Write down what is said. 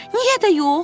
Niyə görə?